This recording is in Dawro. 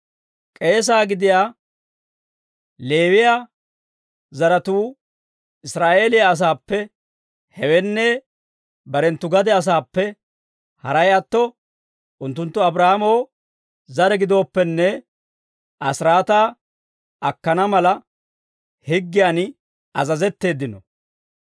K'eesaa gidiyaa Leewiyaa zaratuu Israa'eeliyaa asaappe, hewenne barenttu gade asaappe haray atto unttunttu Abraahaamo zare gidooppenne, asiraataa akkana mala, higgiyan azazetteeddino.